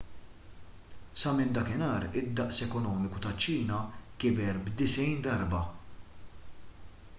sa minn dakinhar id-daqs ekonomiku taċ-ċina kiber b’90 darba